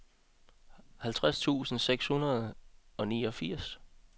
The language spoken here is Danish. halvtreds tusind seks hundrede og niogfirs